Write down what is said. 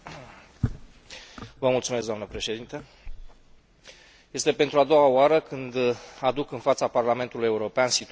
Este pentru a doua oară când aduc în fața Parlamentului European situația dezastruoasă creată în sistemul asigurărilor de sănătate din România.